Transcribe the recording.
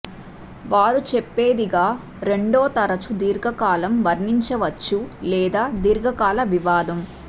వారు చెప్పేది గా రెండో తరచూ దీర్ఘకాలం వర్ణించవచ్చు లేదా దీర్ఘకాల వివాదం